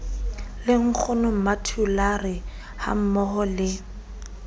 le nkgono mmathulare hammoho le